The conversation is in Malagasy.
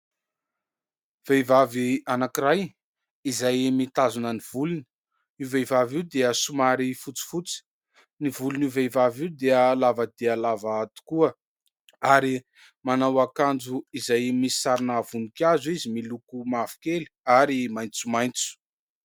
Vehivavy anankiray izay mitazona ny volony, io vehivavy io dia somary fotsifotsy. Ny volon'io vehivavy io dia lava dia lava tokoa ary manao akanjo izay misy sarina vonikazo izy miloko mavokely ary maitsomaitso.